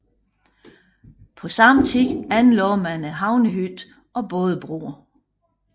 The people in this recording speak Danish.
På samme tid anlagde man Havnehytten og bådebroer